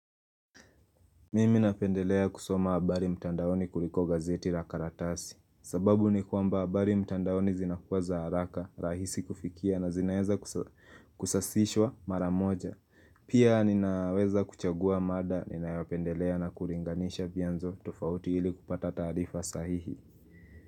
Mimi napendelea kusoma habari mtandaoni kuliko gazeti la karatasi sababu ni kwamba habari mtandaoni zinakuwa za haraka, rahisi kufikia na zinaeza kusasishwa maramoja Pia ninaweza kuchagua mada, ninayopendelea na kuringanisha vyanzo tofauti ili kupata taarifa sahihi.